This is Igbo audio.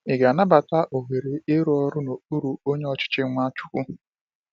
Ị ga-anabata ohere ịrụ ọrụ n’okpuru onye ochichi Nwachukwu?